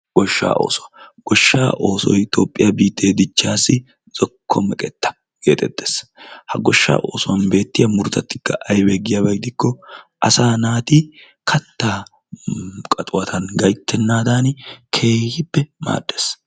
Goshshaa oosuwa. Goshshaa oosoyi toophphiya biittee dichchaassi zokko meqetta geetettes. Ha goshshaa oosuwan beettiya murutatikka aybee giikko asaa naati kattaa qatuwatuwan gayttennaadan keehippe naaddes.